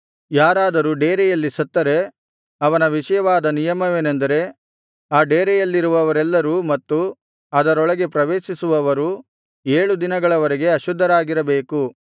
ಯಾರಾದರೂ ಡೇರೆಯಲ್ಲಿ ಸತ್ತರೆ ಅವನ ವಿಷಯವಾದ ನಿಯಮವೇನೆಂದರೆ ಆ ಡೇರೆಯಲ್ಲಿರುವವರೆಲ್ಲರೂ ಮತ್ತು ಅದರೊಳಗೆ ಪ್ರವೇಶಿಸುವವರು ಏಳು ದಿನಗಳವರೆಗೆ ಅಶುದ್ಧರಾಗಿರಬೇಕು